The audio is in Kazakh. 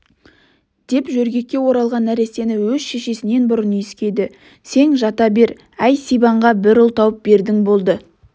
деп жөргекке оралған нәрестені өз шешесінен бұрын иіскеді сең жата бер әй сибанға бір ұл тауып бердің болды